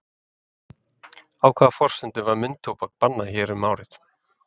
Á hvaða forsendum var munntóbak bannað hér um árið?